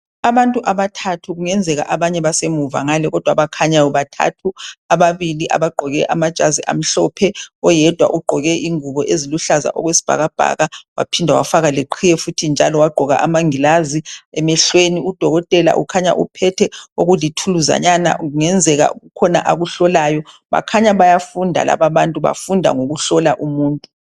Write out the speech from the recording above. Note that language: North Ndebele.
Abantu abathathu kungenzeka abanye basemuva ngale. Kodwa abakhanyayo bathathu, ababili abagqoke amajazi amhlophe oyedwa ugqoke ingubo eziluhlaza okwesibhakabhaka waphinde wafaka leqhiye futhi njalo wagqoka amangilazi emehlweni. Udokotela ukhanya uphethe okulithuluzanyana kungenzeka kukhona akuhlolayo. Bakhanya bayafunda lababantu bafunda ngokuhlola umuntu.